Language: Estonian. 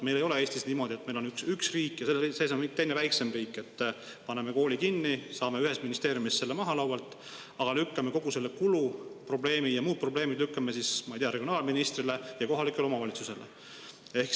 Meil ei ole Eestis niimoodi, et on üks riik ja selle sees on teine väiksem riik, et paneme kooli kinni, saame ühes ministeeriumis selle laualt maha, lükkame kogu selle kuluprobleemi ja muud probleemid, ma ei tea, regionaalministrile ja kohalikele omavalitsustele.